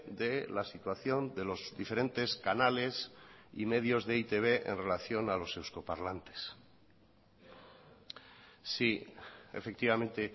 de la situación de los diferentes canales y medios de e i te be en relación a los euskoparlantes sí efectivamente